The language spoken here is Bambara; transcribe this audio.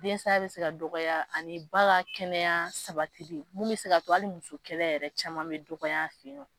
Den saya bɛ se ka dɔgɔya ani ba ka kɛnɛya sabatili minnu bɛ se ka to hali muso kɛlɛ yɛrɛ caman bɛ dɔgɔya a fɛ yen nɔ